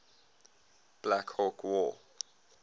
black hawk war